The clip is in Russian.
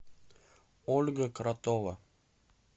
ольга кротова